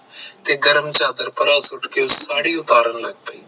ਤੇ ਗਰਮ ਚਾਦਰ ਪਰਾ ਸੁੱਟ ਕ ਉਹ ਸਾੜੀ ਉਤਾਰਨ ਲੱਗ ਪਈ